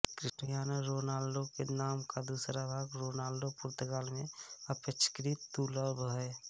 Cristiano Ronaldo के नाम का दूसरा भाग रोनाल्डो पुर्तगाल में अपेक्षाकृत दुर्लभ है